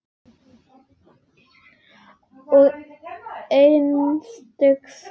Og entist ekki í neinu.